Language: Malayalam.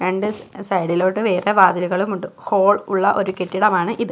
രണ്ട് സ് സൈഡിലോട്ട് വേറെ വാതിലുകളുമുണ്ട് ഹോൾ ഉള്ള ഒരു കെട്ടിടമാണ് ഇത്.